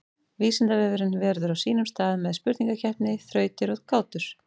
Vísindavefurinn verður á sínum stað með spurningakeppni, þrautir og gátur.